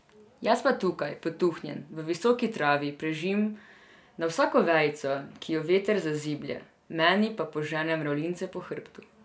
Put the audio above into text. Jaz pa tukaj, potuhnjen v visoki travi prežim na vsako vejico, ki jo veter zaziblje, meni pa požene mravljince po hrbtu.